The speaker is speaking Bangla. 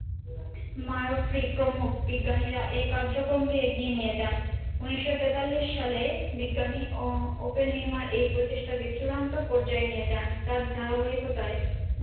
মারফরী প্রমুখ বিজ্ঞানীরা এই কার্যক্রম কে এগিয়ে নিয়ে যান উনিশশো তেতাল্লিশ সালে বিজ্ঞানী ওপেন হেইমার এই প্রচেষ্টা কে চূড়ান্ত পর্যায়ে নিয়ে যান